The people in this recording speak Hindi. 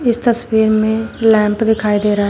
इस तस्वीर में लैंप दिखाई दे रहा--